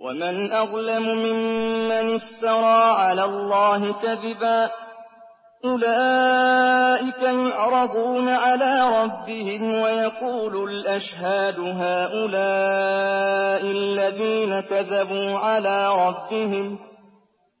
وَمَنْ أَظْلَمُ مِمَّنِ افْتَرَىٰ عَلَى اللَّهِ كَذِبًا ۚ أُولَٰئِكَ يُعْرَضُونَ عَلَىٰ رَبِّهِمْ وَيَقُولُ الْأَشْهَادُ هَٰؤُلَاءِ الَّذِينَ كَذَبُوا عَلَىٰ رَبِّهِمْ ۚ